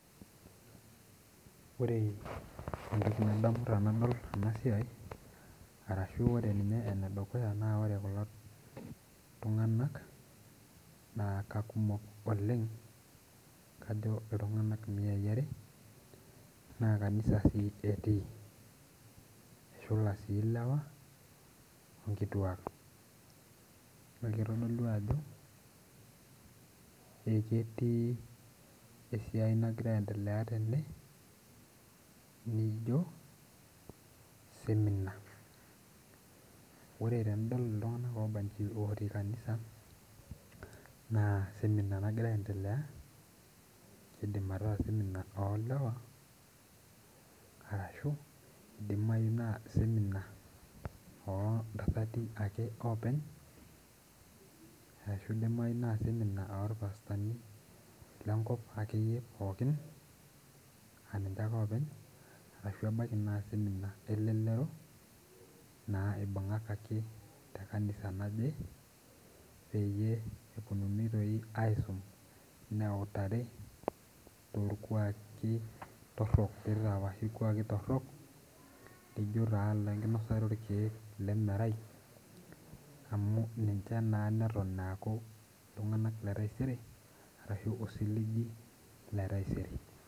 Ore entoki nadamu tanadol ena siai arashu ore ninye enedukuya naa ore kulo tung'anak naa kakumok oleng kajo iltung'anak imiai are naa kanisa sii etii eshula sii ilewa onkituak ekitodolu ajo eketii esiai nagira aendelea tene nijio seminar ore tenidol iltung'anak obanji otii kanisa naa seminar nagira aendelea kidim ataa seminar olewa arashu idimayu naa seminar ontasati ake oopeny ashu idimai naa seminar orpastani lenkop akeyie pookin aninche ake openy arashu ebaiki naa seminar elelero naa ibung'akaki te kanisa naje peyie eponunui toi aisum neutari torkuaki torrok nitapaashi irkuaki torrok lijio taa lenkinosata orkiek ile merai amu ninche naa neton eaku iltung'anak le taisere arashu osiligi le taisere.